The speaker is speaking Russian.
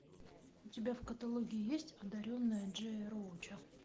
у тебя в каталоге есть одаренная джея роуча